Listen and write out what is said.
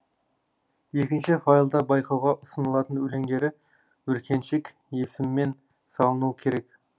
екінші файлда байқауға ұсынылатын өлеңдері бүркеншік есіммен салынуы керек